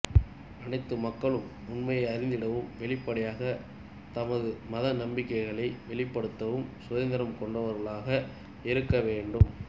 அனைத்து மக்களும் உண்மையை அறிந்திடவும் வெளிப்படையாக தமது மத நம்பிக்கைகளை வெளிப்படுத்தவும் சுதந்திரம் கொண்டவர்களாக இருக்கவேண்டும்